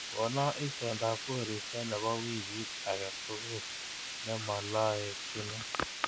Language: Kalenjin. Kono itondab koristo nebo wiikit age tugul nemaloetchino